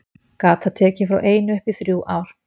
Gat það tekið frá einu upp í þrjú ár.